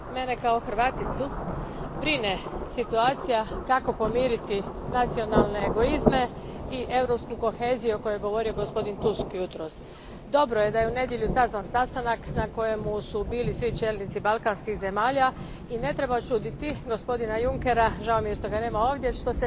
Gospodine predsjedniče, mene kao Hrvaticu brine situacija kako pomiriti nacionalne egoizme i europsku koheziju o kojoj je govorio gospodin Tusk jutros. Dobro je da je u nedjelju sazvan sastanak na kojem su bili svi čelnici balkanskih zemalja i ne treba čuditi gospodina Junckera, žao mi je što ga nema ovdje, što